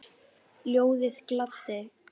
Ljóðið gladdi.